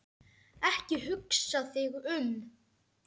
Ekki hugsa þig um.